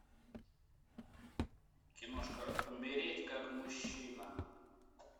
киношка умереть как мужчина